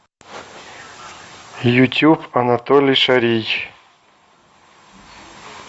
ютуб анатолий шарий